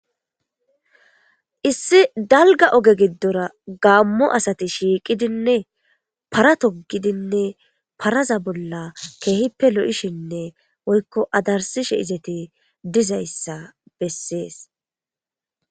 Issi daalga ooge gidora gamo assati shshiiqidine paara togidinne paraza bolla ke'ippe lo'shshenne woykko adarsishshe izeti biizayssa besees